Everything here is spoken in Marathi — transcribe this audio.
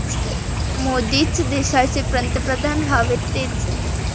मोदीच देशाचे पंतप्रधान व्हावेत, तेच